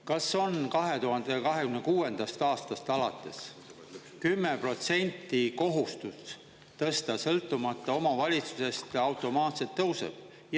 Kas on 2026. aastast alates 10% kohustus tõsta, sõltumata omavalitsusest automaatselt tõuseb?